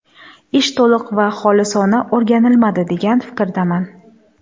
Ish to‘liq va xolisona o‘rganilmadi, degan fikrdaman.